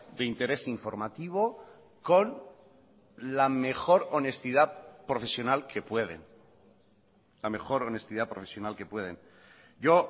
de interés informativo con la mejor honestidad profesional que pueden la mejor honestidad profesional que pueden yo